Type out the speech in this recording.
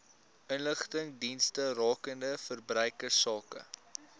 inligtingsdienste rakende verbruikersake